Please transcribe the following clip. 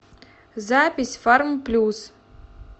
запись фармплюс